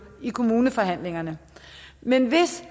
i kommuneforhandlingerne men hvis